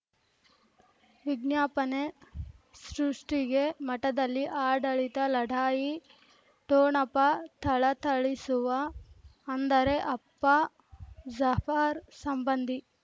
ವಿಜ್ಞಾಪನೆ ಸೃಷ್ಟಿಗೆ ಮಠದಲ್ಲಿ ಆಡಳಿತ ಲಢಾಯಿ ಠೊಣಪ ಥಳಥಳಿಸುವ ಅಂದರೆ ಅಪ್ಪ ಜಾಫರ್ ಸಂಬಂಧಿ